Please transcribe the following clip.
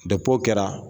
o kɛra